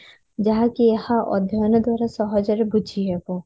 ଯାହାକି ଏହା ଅଧ୍ୟୟନ ଦ୍ଵାରା ସହଜରେ ବୁଝି ହେବ